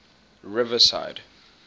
riverside